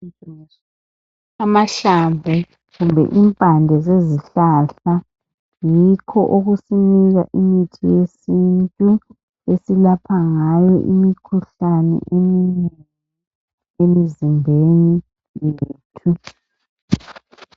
Amahlamvu kumbe impande yikho akusonika imithi yesintu esilapha ngayo umikhuhlane eminengi emzimbeni yethu